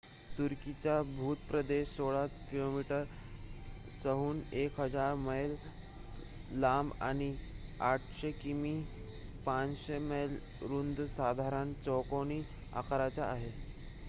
तुर्कीचा भूप्रदेश 1,600 किलोमीटर्सहून 1,000 मैल लांब आणि 800 किमी 500 मैल रुंद साधारण चौकोनी आकाराचा आहे